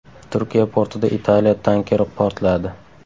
Turkiya portida Italiya tankeri portladi.